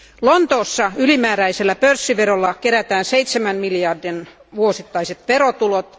Lontoossa ylimääräisellä pörssiverolla kerätään 7 miljardin vuosittaiset verotulot.